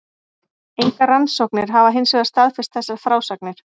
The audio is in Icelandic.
Engar rannsóknir hafa hinsvegar staðfest þessar frásagnir.